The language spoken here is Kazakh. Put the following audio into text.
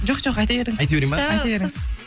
жоқ жоқ айта беріңіз айтап берейін ба айта беріңіз